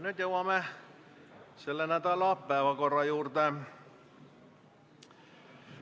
Nüüd jõuame selle nädala päevakorra juurde.